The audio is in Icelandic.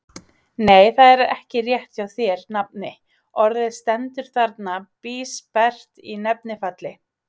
Nei, það er ekki rétt hjá þér, nafni, orðið stendur þarna bísperrt í nefnifalli.